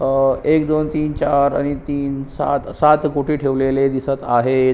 अह एक दोन तीन चार आणि तीन सात सात पोती दिसत आहेत.